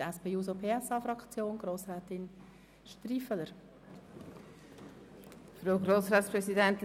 Für die SP-JUSO-PSA-Fraktion hat Grossrätin Striffeler das Wort.